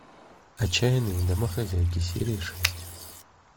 отчаянные домохозяйки серия шесть